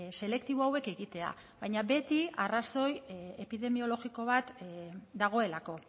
selektibo hauek egitea baina beti arrazoi epidemiologiko bat dagoelako